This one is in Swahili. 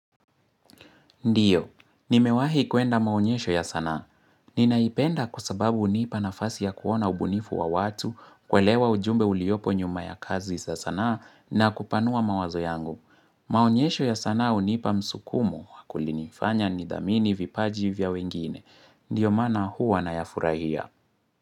Ndiyo, nimewahi kuenda maonyesho ya sanaa. Ninaipenda kwa sababu hunipa nafasi ya kuona ubunifu wa watu, kuelewa ujumbe uliopo nyuma ya kazi za sanaa na kupanua mawazo yangu. Maonyesho ya sanaa hunipa msukumo, kulinifanya nidhamini vipaji vya wengine. Ndiyo maana huwa nayafurahia.